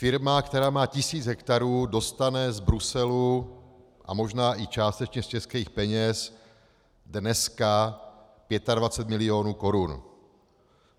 Firma, která má tisíc hektarů, dostane z Bruselu a možná i částečně z českých peněz dneska 25 milionů korun.